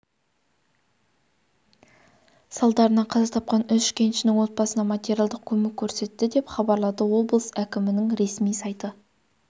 салдарынан қаза тапқан үш кеншінің отбасына материалдық көмек көрсетті деп хабарлады облыс әкімінің ресми сайты